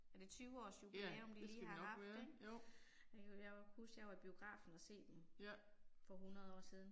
Er det 20 års jubilæum de lige har haft ik? Jeg kan jo jeg kan huske jeg var i biografen og se dem for 100 år siden